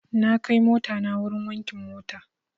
Na kai motana wurin wankin mota.